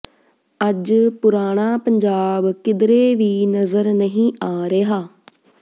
ਅੱਜ ਪੁਰਾਣਾ ਪੰਜਾਬ ਕਿਧਰੇ ਵੀ ਨਜ਼ਰ ਨਹੀਂ ਆ ਰਿਹਾ